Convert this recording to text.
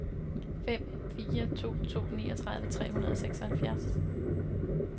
fem fire to to niogtredive tre hundrede og seksoghalvfjerds